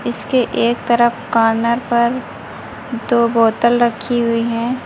उसके एक तरफ कॉर्नर पर दो बोतल रखी हुई हैं।